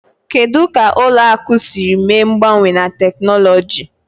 Kedu ka ụlọ akụ siri mee mgbanwe na teknụzụ?